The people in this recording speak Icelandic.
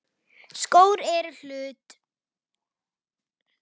Skór eru hluti af því.